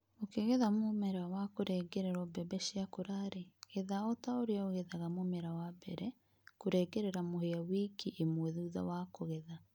ũkĩgetha mũmera wa kũrengererwo mbembe ciakũra rĩ, getha otaũrĩa ũgethaga mũmera wa mbere. Kũrengerera mũhĩa wiki ĩmwe thutha wa kũgetha